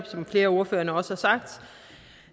som flere af ordførerne også har sagt